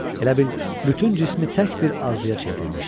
Elə bil bütün cismi tək bir arzuya çevrilmişdi.